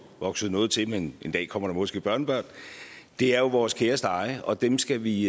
vokset noget til men en dag kommer der måske børnebørn det er jo vores kæreste eje og dem skal vi